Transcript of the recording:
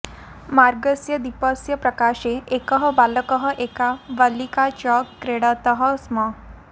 मार्गस्य दीपस्य प्रकाशे एकः बालकः एका बलिका च क्रीडतः स्म